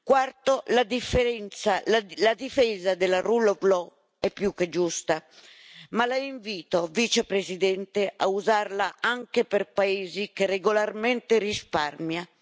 Quarto, la difesa della Rule of Law è più che giusta, ma La invito, Vicepresidente, a usarla anche per paesi che regolarmente risparmia.